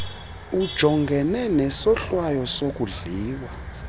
ujungene nesohlwayo sokudliwa